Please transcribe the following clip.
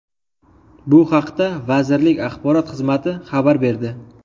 Bu haqda vazirlik axborot xizmati xabar berdi.